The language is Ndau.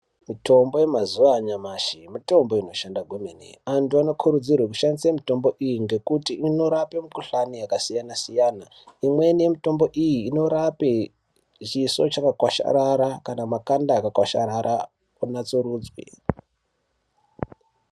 Mitombo yamazuva anyamashi mitombo inoshanda kwemene. Antu anokurudzirwe kushandisa mitombo iye ngekuti inorape mikuhlani yakasiyana-siyana. Imweni yemitombo iyi inorape chiso chakakwasharara kana makanda akakwasharara kunatsurudzwe.